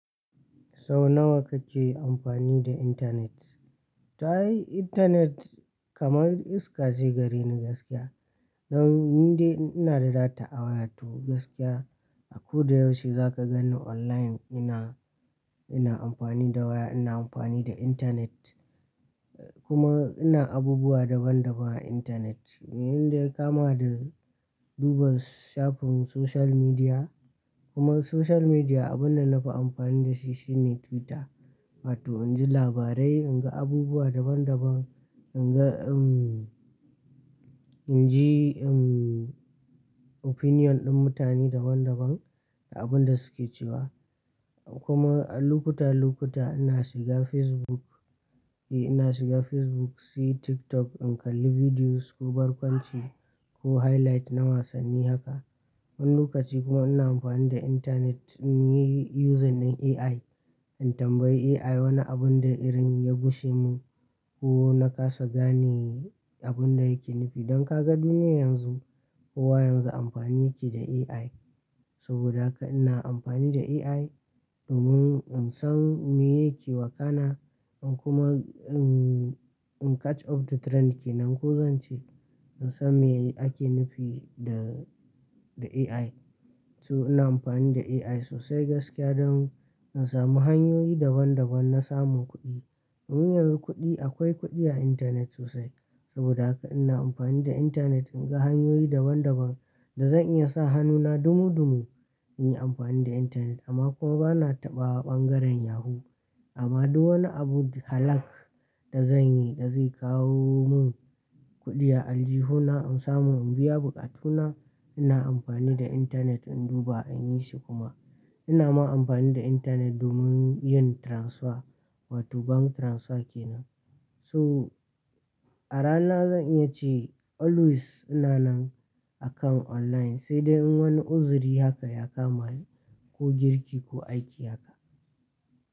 Sau nawa kake amfani da intanet? Ta yi intanet kamar iska ce gareni gaskiya. Don inda ina da data a waya to gaskiya a ko da yaushe za ka gani online ina, ina amfani da waya, ina amfani da intanet kuma ina abubuwa daban daban a intanet. Abinda daya kama da duba shafin social media kuma social media abunda nafi amfani da shi shine Twitter. Wato inji labarai, inga abubuwa daban daban, inga inji opinion din mutane daban daban da abunda suke cewa. Kuma a lokuta lokuta ina shiga Facebook, eh ina shiga Facebook, sai TikTok in kalli videos ko barkwanci ko highlight na wasanni haka. Wani lokaci kuma ina amfani da intanet in yi using din AI. In tambayi AI wani abun da irin ya gushe mun ko na kasa gane abunda yake nufi. Don ka gani ne yanzu kowa yanzu amfani yake da AI. Saboda haka ina amfani da AI domin in san me yake wakana, in kuma umm in catch up da trend kenan. Ko zan ce in san me ake nufi da, da AI. To ina amfani da AI sosai gaskiya don in samu hanyoyi daban daban na samun kuɗi. Wuyan yanzu kuɗi akwai kuɗi a intanet sosai. Saboda haka ina amfani da intanet inga hanyoyi daban daban da zan iya sa hannuna dumu dumu. In yi amfani da intanet amma kuma bana taɓa ɓangaren yahoo. Amma duk wani abu halal da zanyi da zai kawo mun kuɗi aljihuna in samu in biya buƙatuna ina amfani da intanet in duba in yi shi kuma. Ina ma amfani da intanet domin yin transfer wato bank transfer kenan. So a rana zan iya ce always ina nan akan online sai dai in wani uzuri haka ya kamani ko girki ko aiki haka.